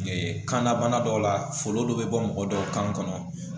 kanna bana dɔw la foli dɔ bɛ bɔ mɔgɔ dɔw kan kɔnɔ